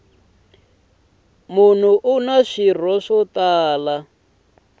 munhu una swirho swo tala